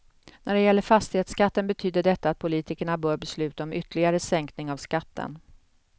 När det gäller fastighetsskatten betyder detta att politikerna bör besluta om ytterligare sänkning av skatten.